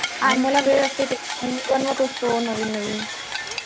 आम्हाला वेळ असते. म्हणून मी बनवत असतो नवीन नवीन.